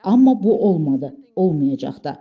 Amma bu olmadı, olmayacaq da.